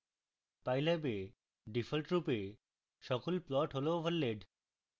pylab এ ডিফল্টরূপে সকল plots overlaid